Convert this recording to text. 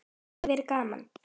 Það hafi verið gaman.